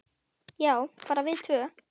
Já, bara við tvö.